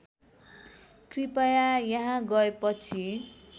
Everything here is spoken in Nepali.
कृपया यहाँ गएपछि